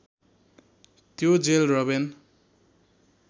त्यो jail Robben